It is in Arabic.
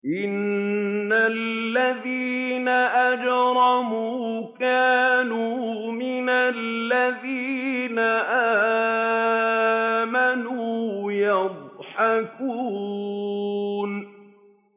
إِنَّ الَّذِينَ أَجْرَمُوا كَانُوا مِنَ الَّذِينَ آمَنُوا يَضْحَكُونَ